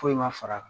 Foyi ma far'a kan